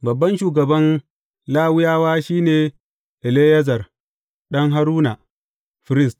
Babban shugaban Lawiyawa shi ne Eleyazar ɗan Haruna, firist.